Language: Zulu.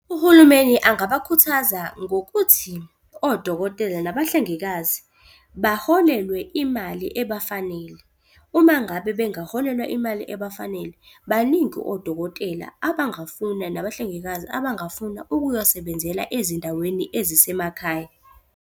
Uhulumeni angabakhuthaza ngokuthi odokotela nabahlengikazi baholelwe imali ebafanele. Uma ngabe bengaholelwa imali ebafanele, baningi odokotela abangafuna, nabahlengikazi abangafuna ukuyosebenzela ezindaweni ezisemakhaya.